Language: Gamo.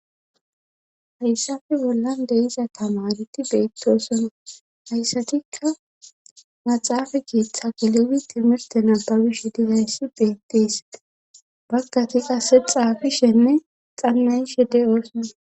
hayssafe bollan deiza tamareti beettoosona hayssatikka naxaafa kiitha gelewi timirtena babish digayssi beetteesie bakkati qasexa gishenne xannayishe de oosona